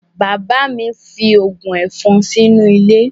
Bàbá mi fín ògùn ẹ̀fọn sínú ilé